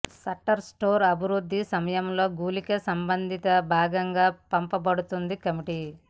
shutter store అభివృద్ది సమయంలో గుళిక సంబంధిత భాగంగా పంపబడుతుంది కమిటీ